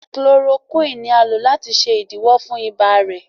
Chloroquine ní a lò láti ṣe idiwọ fún ibà rẹ.